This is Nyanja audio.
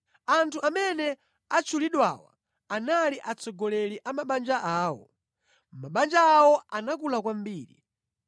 Anthu amene atchulidwawa anali atsogoleri a mabanja awo. Mabanja awo anakula kwambiri